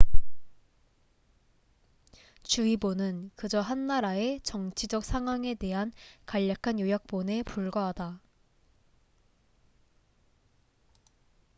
주의보는 그저 한 나라의 정치적 상황에 대한 간략한 요약본에 불과하다